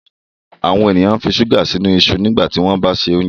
àwọn ènìyàn nfi ṣuga sínú iṣu nígbà tí wón bá ṣe oúnjẹ